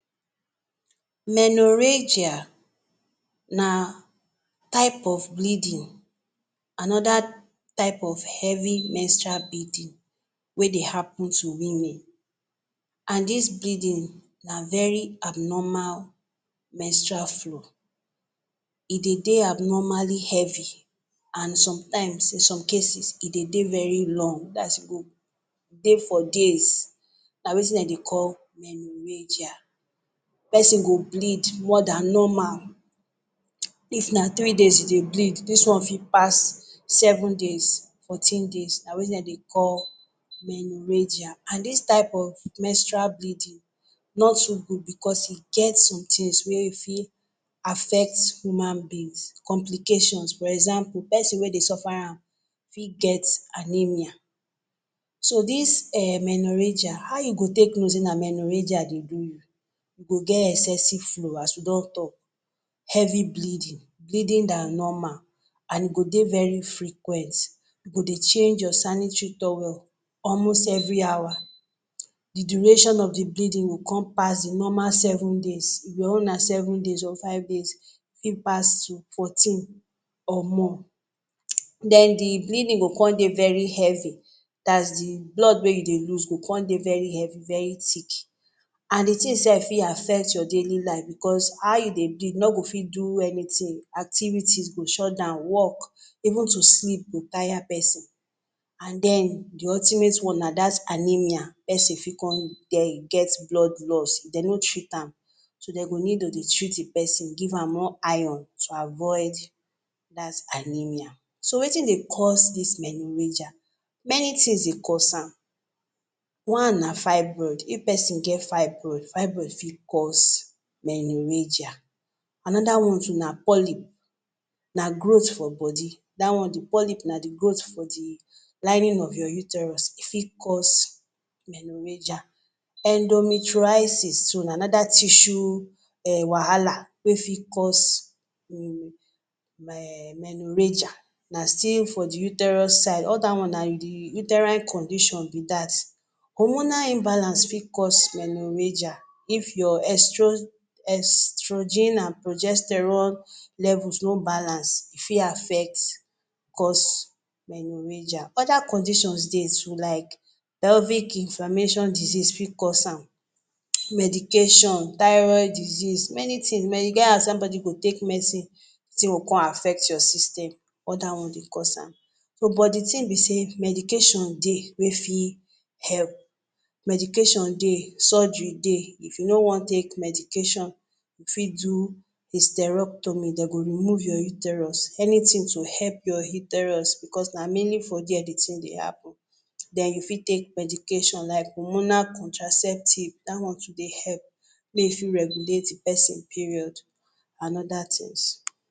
Menorrhagia na type of bleeding, another type of heavy menstrual bleeding wey dey happen to women. And his bleeding na very abnormal menstrual flow. E dey dey abnormally heavy, and sometimes in some cases e dey dey very long. Thats, e go dey for days, na wetin dem dey call menorrhagia. Person go bleed more than normal. If na three days you dey bleed, this one fit pass seven days, fourteen days. na wein dem dey call menorrhagia and this type of menstrual bleeding nor too good because e get some things wey fit affect human beings complications. For example, person wey dey suffer am fit get anemia. So, this um menorrhagia how you go take know say na menorrhagia dey do you? You go get excessive flow. As we don talk, heavy bleeding bleeding than normal and e go dey very frequent. You go dey change your sanitary towel almost every hour. The duration of the bleeding go con pass di normal seven days your own na seven days or five days. E pass you fourteen or more. Then di bleeding go come dey very heavy, thats the blood wey you dey lose go con dey very heavy very thick. and the thing sef fit affect your daily life bicos how you dey bleed no go fit do any thing activities go shut down work even to sleep go tire persin. and then the ultimate one na that anemia. person fit con ge e get blood loss if dem no treat am. So dem need to dey treat the person give am more iron to avoid that anemia. So Wetin dey cause this menorrhagia? Many things dey cause am. One na fibroid. If person get fibroid, fibroid fit cause menorrhagia. Another one too na polyp na growth for body, that one the polyp na the growth for the lining of your uterus e fit cause menorrhagia. Endometriosis too na another tissue wahala wey fit cause menorrhagia, na still for the uterus side all that one na the uterine condition be that. Hormonal imbalance fit cause Menorrhagia. If your estrogen and progesterone levels no balance, e fit affect cause menorrhagia. Other conditions dey toolike pelvic inflammation disease fit cause am, medication thyroid disease many thing, e get as somebody go take medicine tin go con affect your system all that one dey cause am. Oh But di tin be sey medication dey wey fit help. Medication dey, surgery dey. If you no wan take medication, you fit do hysterectomy, dem go remove your uterus. Anything to help your uterus, because na mainly for there the thing dey happen. Then you fit take medication like hormonal contraceptives that one too dey help may e fit regulate di persin period and other tins